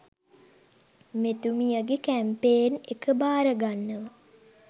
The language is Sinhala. මෙතුමියගෙ කැම්පේන් එක බාරගන්නව.